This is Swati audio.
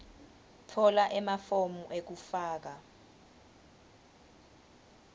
tfola emafomu ekufaka